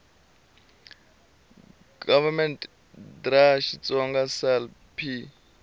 gov dra xitsonga sal p